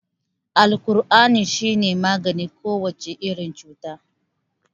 Alkur'ani shi ne maganin kowace irin cuta.